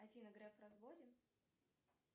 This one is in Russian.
афина греф в разводе